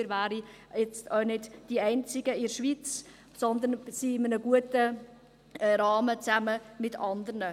Wir wären auch nicht die einzigen in der Schweiz, sondern wir sind in einem guten Rahmen, zusammen mit anderen.